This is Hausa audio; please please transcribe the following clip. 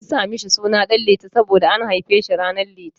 An sa mishi suna Ɗan Liti saboda an haife shi ran litinin.